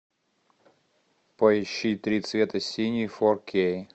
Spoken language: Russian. поищи три цвета синий фор кей